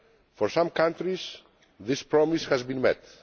For some countries, this promise has been met.